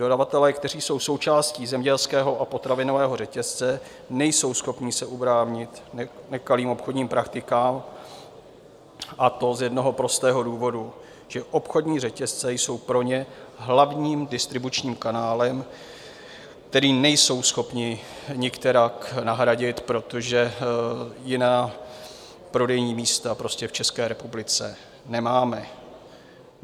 Dodavatelé, kteří jsou součástí zemědělského a potravinového řetězce, nejsou schopni se ubránit nekalým obchodním praktikám, a to z jednoho prostého důvodu, že obchodní řetězce jsou pro ně hlavním distribučním kanálem, který nejsou schopni nikterak nahradit, protože jiná prodejní místa prostě v České republice nemáme.